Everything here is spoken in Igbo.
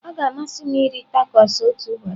Ọ ga-amasị m iri tacos otu ụbọchị.